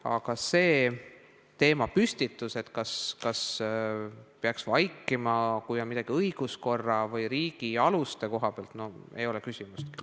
Aga selline teemapüstitus, et kas peaks vaikima, kui midagi on õiguskorra või riigi alustega seoses valesti – no ei ole küsimustki!